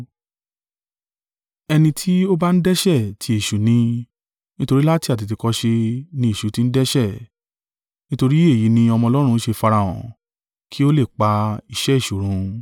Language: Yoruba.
Ẹni tí ó ba ń dẹ́ṣẹ̀ tí èṣù ni; nítorí láti àtètèkọ́ṣe ni èṣù ti ń dẹ́ṣẹ̀. Nítorí èyí ni Ọmọ Ọlọ́run ṣe farahàn, kí ó lè pa iṣẹ́ èṣù run.